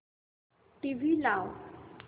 TV लाव